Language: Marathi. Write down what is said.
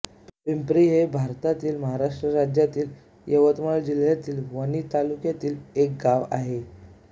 पिंपरी हे भारतातील महाराष्ट्र राज्यातील यवतमाळ जिल्ह्यातील वणी तालुक्यातील एक गाव आहे